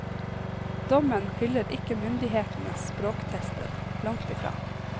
Dommen hyller ikke myndighetenes språktester, langt ifra.